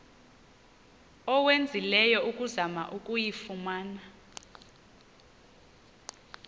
owenzileyo ukuzama ukuyifumana